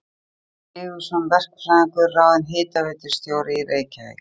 Helgi Sigurðsson verkfræðingur ráðinn hitaveitustjóri í Reykjavík.